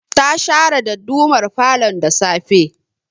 Ta share dadumar falon da safe